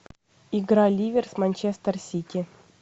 игра ливер с манчестер сити